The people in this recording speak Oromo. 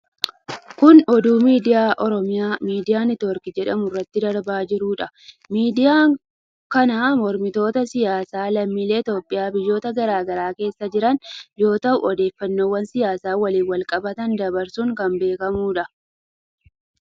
Kun, oduu miidiyaa Oromiyaa Miidiyaa Niitwork jedhamuu irratti darbaa jiruu dha. Miidiyaan kan mormitoota siyaasaa lammiilee Itoophiyaa biyyoota garaa garaa keessa jiranii yoo ta'u, odeeffannoowwan siyaasa waliin walqabatan dabarsuun kan beekamuu dha.